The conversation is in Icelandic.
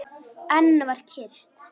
Enn var kyrrt.